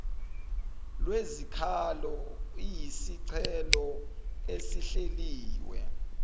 lwezikhalo iyisicelo esihleliwe